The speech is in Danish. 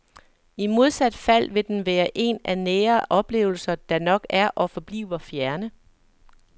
I modsat fald vil den være en af nære oplevelser, der nok er og forbliver fjerne.